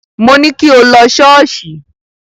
Mo ní kí o lọ ṣọ́ọ̀ṣì.